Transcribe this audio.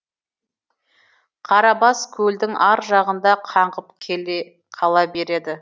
қарабас көлдің ар жағында қаңғып қала береді